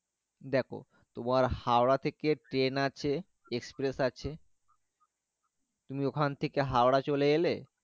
দ্যাখো তোমার হাওড়া থেকে train আছে express আছে। তুমি ওখান থাকে হাওড়া চলে এলে।